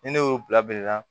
Ni ne y'o bila bila la